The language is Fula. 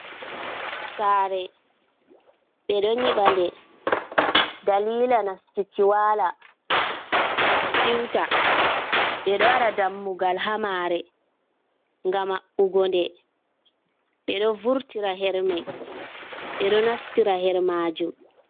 Sare ɓeɗo nyiɓa nde, dalila nastuki wala siwta, ɓeɗo waɗa dammugal ha mare, nga maɓɓugo nden ɓeɗo vurtira hermai, ɓeɗo nastira her majum.